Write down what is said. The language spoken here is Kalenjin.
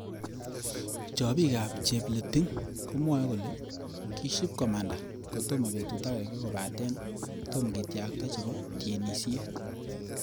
Chopikab Chepleting komwae kole kishokomanda kotomo betut akenge kopate tom ketyakta chebo tienisiet